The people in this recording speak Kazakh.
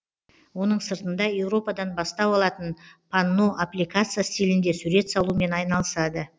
оның сыртында еуропадан бастау алатын панно аппликация стилінде сурет салумен айналысады